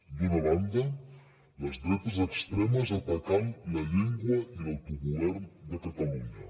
d’una banda les dretes extremes atacant la llengua i l’autogovern de catalunya